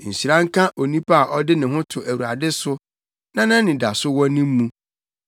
“Nhyira nka onipa a ɔde ne ho to Awurade so, na nʼanidaso wɔ ne mu.